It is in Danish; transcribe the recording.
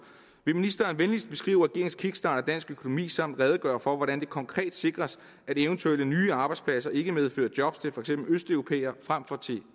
vil ministeren venligst beskrive regeringens kickstart af dansk økonomi samt redegøre for hvordan det konkret sikres at eventuelle nye arbejdspladser ikke medfører job til for eksempel østeuropæere frem for til